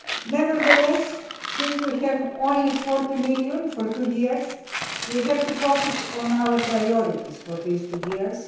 Nevertheless, since we have only EUR 40 million for two years, we have to focus on our priorities for these two years.